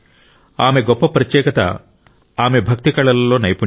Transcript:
ఆమె గొప్ప ప్రత్యేకత ఆమె భక్తి కళలలో నైపుణ్యం